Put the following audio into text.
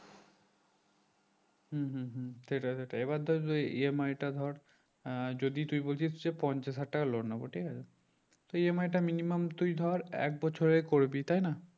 হুম হুম হুম সেটাই ধর এবার ধর যে EMI টা ধর আহ যদি তুই বলছিস যে পঞ্চাশ হাজার টাকা loan নেবো ঠিক আছে তো EMI টা minimum তুই ধর এক বছরের করবি তাই না